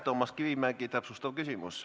Toomas Kivimägi, täpsustav küsimus.